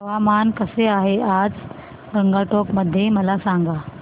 हवामान कसे आहे आज गंगटोक मध्ये मला सांगा